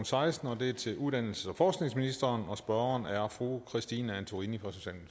seksten og det er til uddannelses og forskningsministeren og spørgeren er fru christine antorini